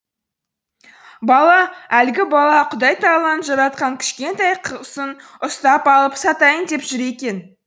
бала әлгі бала құдай тағаланың жаратқан кішкентай құсын ұстап алып сатайын деп жүр екен